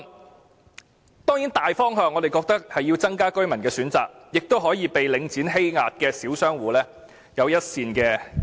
我們認為大方向當然是增加居民的選擇，這亦可以令被領展欺壓的小商戶有一線生機。